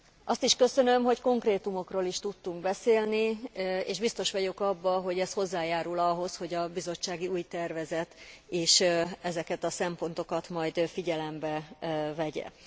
Azt is köszönöm, hogy konkrétumokról is tudtunk beszélni, és biztos vagyok abban, hogy ez hozzájárul ahhoz, hogy a bizottsági új tervezet ezeket a szempontokat majd figyelembe vegye.